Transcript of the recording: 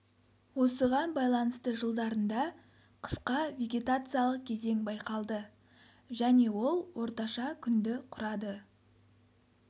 осыған байланысты жылдарында қысқа вегетациялық кезең байқалды және ол орташа күнді құрады